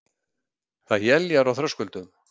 Það éljar á Þröskuldum